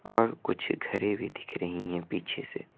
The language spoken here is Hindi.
और कुछ घरें भी दिख रही हैं पीछे से।